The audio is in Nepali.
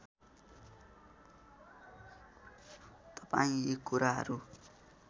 तपाईँ यी कुराहरू